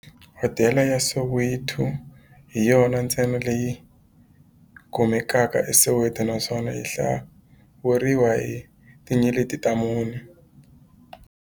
Hodela ya Soweto hi yona ntsena leyi kumekaka eSoweto, naswona yi hlawuriwa hi tinyeleti ta mune.